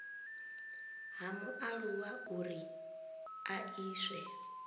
ha mualuwa uri a iswe